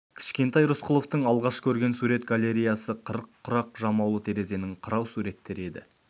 кішкентай рысқұловтың алғаш көрген сурет галереясы қырық құрақ жамаулы терезенің қырау суреттері еді